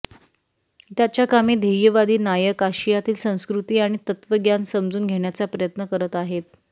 त्याच्या कामे ध्येयवादी नायक आशियातील संस्कृती आणि तत्त्वज्ञान समजून घेण्याचा प्रयत्न करत आहेत